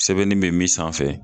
Sɛbɛnni be min sanfɛ